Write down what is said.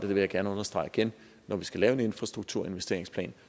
vil jeg gerne understrege igen når vi skal lave en infrastrukturinvesteringsplan